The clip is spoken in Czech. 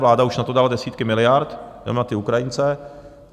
Vláda už na to dala desítky miliard, jenom na ty Ukrajince.